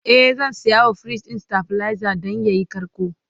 e zan sayawa firij ɗin stabilizer Dan yayi karko